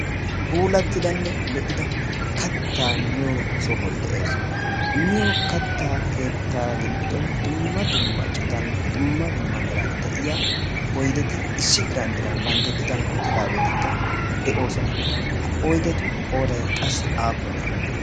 puulattidanne lo'ida kattaa miyo sohoy de'ees miyo kattaa keettaa giddon dumma dumma citan dumma dumma meran de'iya oydeti issi diran diran bantta citan uttidaageetikka de'oosona ha oydetu qooday qassi aappune